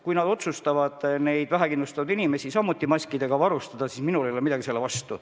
Kui nad otsustavad vähekindlustatud inimesi samuti maskidega varustada, siis minul ei ole midagi selle vastu.